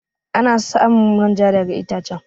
Ana samun manja daga ittacen.